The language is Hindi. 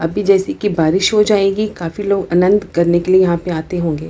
अभी जैसे की बारिश हो जाएगी काफी लोग अनंत करने के लिए यहाँ पे आते होंगे।